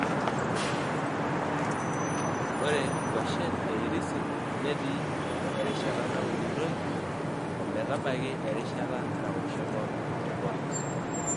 Ore nkuashen e irisi netii erishata naunitoi o metabaiki erishata nawosh enkop te polos.